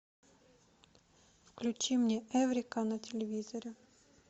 включи мне эврика на телевизоре